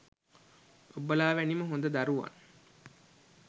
ඔබලා වැනිම හොඳ දරුවන්